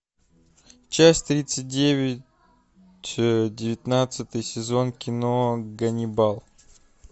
часть тридцать девять девятнадцатый сезон кино ганнибал